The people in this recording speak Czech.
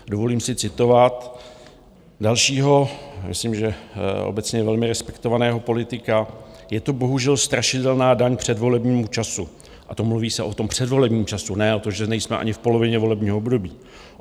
Dovolím si citovat dalšího, myslím, že obecně velmi respektovaného politika: Je to bohužel strašidelná daň předvolebnímu času, a to mluví se o tom předvolebním času, ne o tom, že nejsme ani v polovině volebního období.